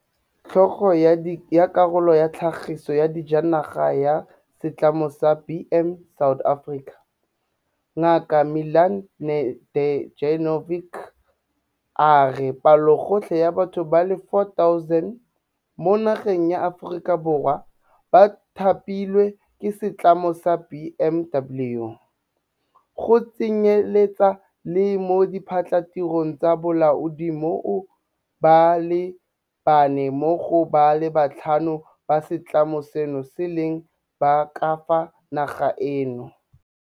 Tlhogo ya Karolo ya Tlhagiso ya Dijanaga ya Setlamo sa BMW South Africa, Ngaka Milan Nedeljkovic, a re palogotlhe ya batho ba le 4 000 mo nageng ya Aforika Borwa ba thapilwe ke setlamo sa BMW, go tsenyeletsa le mo diphatlhatirong tsa bolaodi moo ba le bane mo go ba le batlhano ba setlamo seno e leng ba ka fa nageng eno.